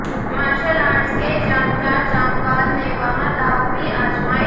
martial arts के जानकार जामवाल ने वहां दांव भी आजमाये